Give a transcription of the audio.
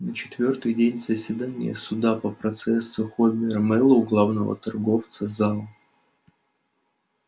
на четвёртый день заседания суда по процессу хобера мэллоу главного торговца зал